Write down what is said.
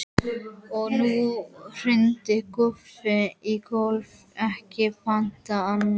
Og nú hrundi Guffi í gólfið, ekki batnaði það!